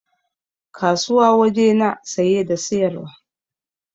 Kasuwa waje na saye da siyarwa